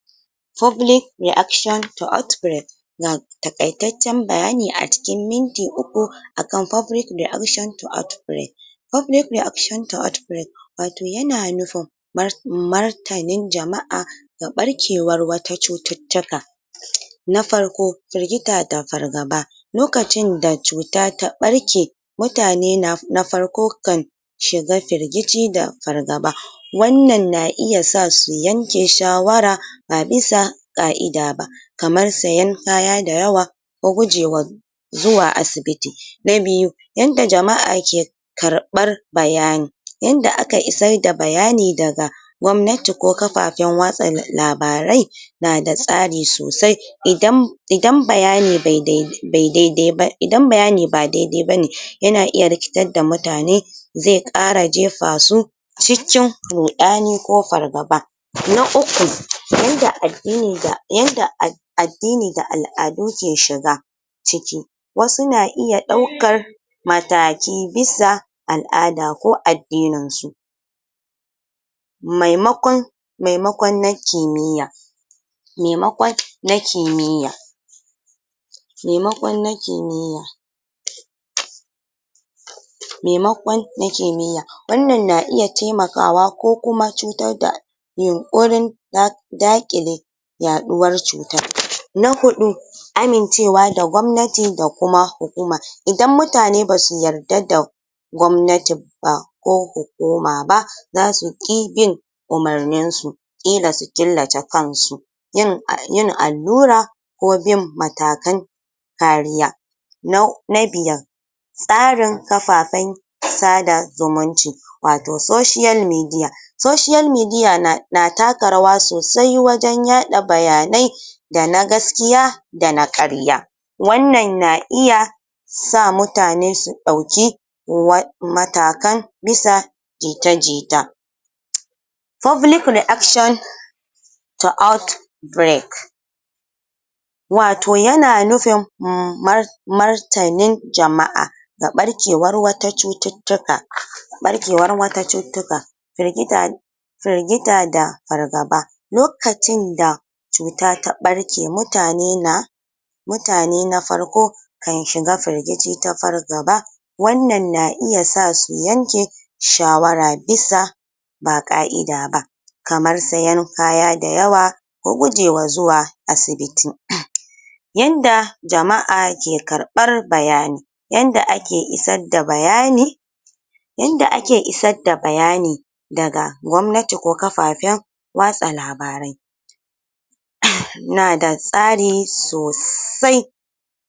public reaction to outbreak ga taƙaitaccen bayani a cikin minti uku akan public reaction to outbreak public reaction to outbreak wato yana nufin martanin jama'a ga ɓarkewar wata cututtuka na farko firgita da fargaba lokacin da cuta ta ɓarke mutane na farko kan shiga firgice da fargaba wannan na iya sa su yanke shawara ba bisa ƙa'ida ba kamar sayen kaya da yawa da gujewan zuwa asibiti a biyu yanda jama'a ke karɓar bayani yanda aka isar da bayani daga gwamnati ko kafafen watsa labarai na da tsari sosai idan idan bayani be be dai-dai ba idan bayani ba dai-dai bane yana iya rikitar da mutane ze ƙara jefa su cikin ruɗani ko fargaba na uku, yanda addini da addini da al'adu ke shiga ciki wasu na iya ɗaukar mataki bisa al'ada ko addinin su maimakon maimakon na kimiyya maimakon na kimiyya temakon na kimiyya maimakon na kimiyya wannan na iya temakawa ko kuma cutar da yunƙurin da daƙile yaɗuwar cutar na huɗu amincewa da gwamnati da kuma hukuma idan mutane basu yarda da gwamnati ba ko hukuma ba za su ƙi bin umarnin su ƙila su killace kan su yin um allura ko bin matakan kariya na biyar tsarin kafafen sada zumunci wato soshiyal midiya soshiyal midiya na na taka rawa sosai wajen yaɗa bayanai da na gaskiya da na ƙarya wannan na iya sa mutane su ɗauki matakan bisa jita-jita public reaction to out wato yana nufin martanin jama'a ga ɓarkewar wata cututtuka ɓarkewar wata cututtuka firgita firgita da fargaba lokacin da cuta ta ɓarke mutane na mutane na farko kan shiga firgici ta fargaba wannan na iya sa su yanke shawara bisa ba ƙa'ida ba kamar sayan kaya da yawa da guje wa zuwa asibiti yanda jama'a ke karɓar bayani yanda ake isar da bayani yanda ake isar da bayani daga gwamnati ko kafafen watsa labarai na da tsari sosai